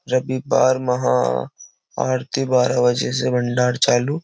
रविवार महा आरती बारह बजे से भंडार चालू --